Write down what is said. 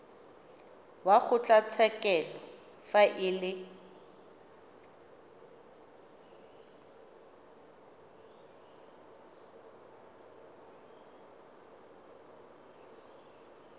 wa kgotlatshekelo fa e le